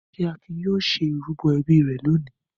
Ṣé Akin yóò ṣe ìrúbọ ẹbí rẹ̀ lónìí?